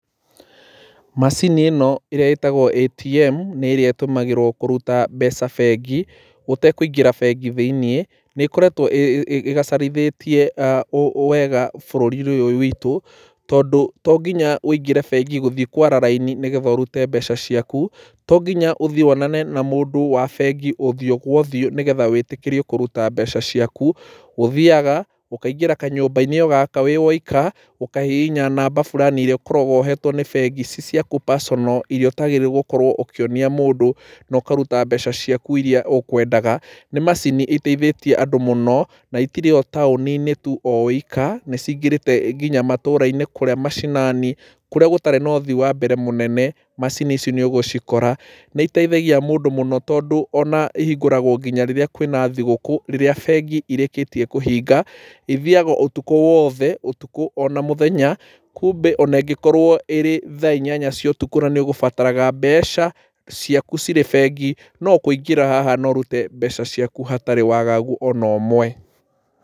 Macini ĩno ĩrĩa ĩtagwo ATM nĩ ĩrĩa ĩtũmĩragwo kũruta mbeca bengi ũtekũingĩra bengi thĩiniĩ. Nĩ ĩkoretwo ĩgacarithĩtie wega bũrũri-inĩ ũyũ witũ tondũ to nginya ũingĩre bengi gũthiĩ kwara raini nĩgetha ũrute mbeca ciaku. To nginya ũthiĩ wonane na mũndũ wa bengi ũthiũ kwa ũthiũ nĩgetha ũrute mbeca ciaku. Ũthiaga ũkaingĩra kanyũmba-inĩ o gaka wĩ woika, ũkahihinya namba o fulani irĩa ũkoragwo ũhetwo nĩ bengi ci ciaku personal irĩa ũtaagĩrĩirwo gũkorwo ũkĩonia mũndũ, na ũkaruta mbeca ciaku irĩa ũkwendaga. Nĩ macini iteithĩtie andũ mũno na itirĩ o taũni-inĩ tuu o wika, nĩ cingĩrĩte nginya matũũra-inĩ kũrĩa mashinani kũrĩa gũtarĩ na ũthii wa mbere mũnene, macini ici nĩ ũgũcikora. Nĩ iteithagia mũndũ mũno tondũ ona ihingũragwo nginya rĩrĩa kwĩna thigũkũ rĩrĩa bengi irĩkĩtie kũhinga. Ithiaga ũtukũ wothe ũtukũ ona mũthenya. Kumbe ona ingĩkorwo ĩrĩ thaa inyanya cia ũtukũ na nĩ ũgũbataraga mbeca ciaku cirĩ bengi, no kũingĩra haha na ũrute mbeca ciaku hatarĩ waagagu ona ũmwe.